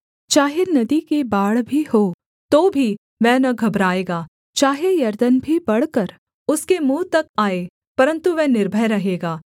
चाहे नदी की बाढ़ भी हो तो भी वह न घबराएगा चाहे यरदन भी बढ़कर उसके मुँह तक आए परन्तु वह निर्भय रहेगा